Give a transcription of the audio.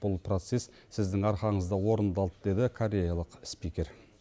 бұл процесс сіздің арқаңызда орындалды деді кореялық спикер